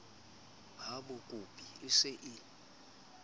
ha bakopi e se e